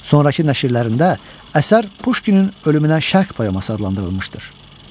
Sonrakı nəşrlərində əsər Puşkinin ölümündən şərq poeması adlandırılmışdır.